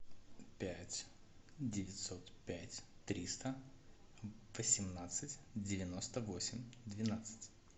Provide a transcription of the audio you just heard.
пять девятьсот пять триста восемнадцать девяносто восемь двенадцать